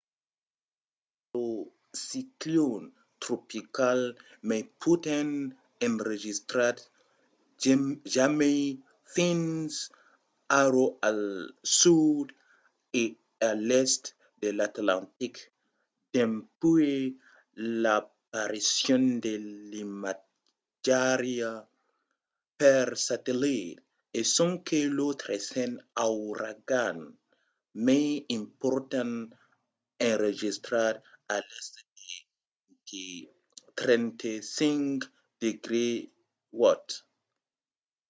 fred es lo ciclon tropical mai potent enregistrat jamai fins ara al sud e a l'èst de l'atlantic dempuèi l'aparicion de l’imatjariá per satellit e sonque lo tresen auragan mai important enregistrat a l'èst de 35°w